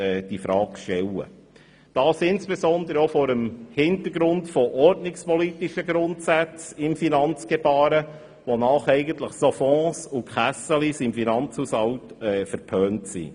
Dies insbesondere auch vor dem Hintergrund ordnungspolitischer Grundsätze im Finanzgebaren, wonach solche Fonds und Kassen im Finanzhaushalt verpönt sind.